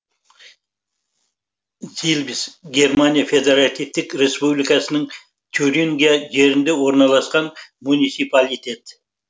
зильбиц германия федеративтік республикасының тюрингия жерінде орналасқан муниципалитет